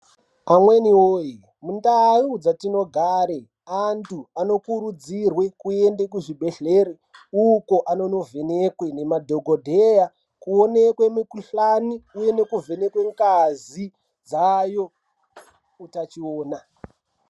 Amweni woye mundau dzatinogare, anthu anokurudzirwe kunde kuzvibhedhlere uko anono vhenekwe ngemadhokodheya. Kuonekwe mikhuhlani uye nekuvhenekwe ngazi dzaayo utachiwona.